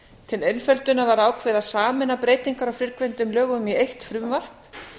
til einföldunar var ákveðið að sameina breytingar á fyrrgreindum lögum í eitt frumvarp